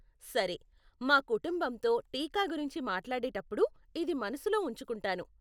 సరే, మా కుటుంబంతో టీకా గురించి మాట్లాడేటప్పుడు ఇది మనసులో ఉంచుకుంటాను.